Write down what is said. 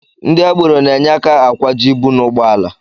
Ndị agbero na-enye aka akwaju ibu n'ụgbọala